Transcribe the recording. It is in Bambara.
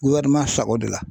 Wari ma sa o de la